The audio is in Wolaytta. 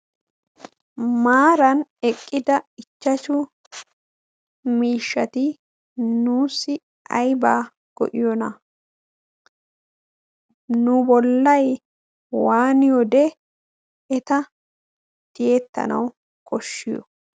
maaran eqqida ichchachu miishshati nuussi aibaa go7iyoona? nu bollai waaniyoode eta tiyettanawu koshshiyo?